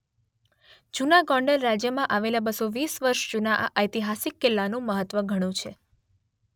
જુના ગોંડલ રાજયમાં આવેલા બસો વીસ વર્ષ જુના આ ઐતિહાસિક કિલ્લાનું મહત્વ ઘણું છે.